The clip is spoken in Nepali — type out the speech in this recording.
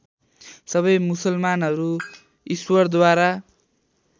सबै मुसलमानहरू ईश्वरद्वारा